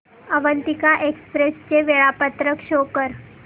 Avantika express चे वेळापत्रक show कर